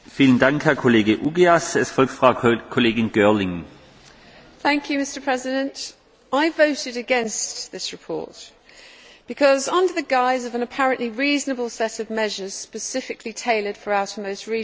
Mr President, I voted against this report because, under the guise of an apparently reasonable set of measures specifically tailored to the outermost regions of the Union, we find a number of unacceptable issues coming forward,